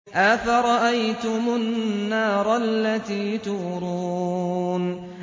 أَفَرَأَيْتُمُ النَّارَ الَّتِي تُورُونَ